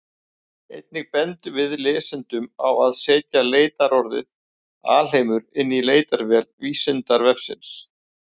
Einnig bendum við lesendum á að setja leitarorðið alheimur inn í leitarvél Vísindavefsins.